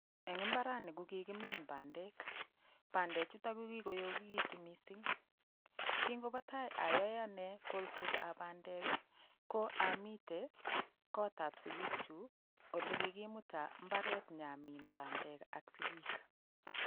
Eng' imbarani kokikimin bandek bandechutok ko kikoyokikitu mising' kingopo tai ayoe ane kolsetab bandek ko amite kotab sikikchu ole kikimuta mbaret nyamin bandek ak sikik